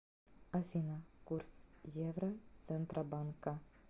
афина курс евро центробанка